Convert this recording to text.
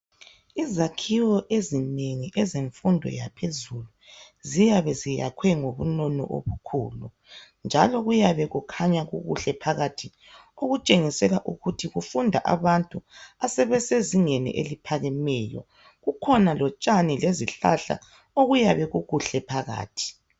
Izakhiwo ezinengi ezemfundo yaphezulu ziyabe ziyakhwe ngobunono obukhulu njalo kuyabe kukhanya kukuhle phakathi okutshengisela ukuthi kufunda abantu asebesezingeni eliphakemeyo. Kukhona lotshani lezihlahla okuyabe kukuhle phakathi .